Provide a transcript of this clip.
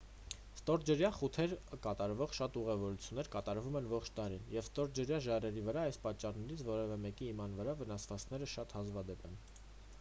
ստորջրյա խութեր կատարվող շատ ուղևորություններ կատարվում են ողջ տարին և ստորջրյա ժայռերի վրա այս պատճառներից որևէ մեկի հիման վրա վնասվածքները շատ հազվադեպ են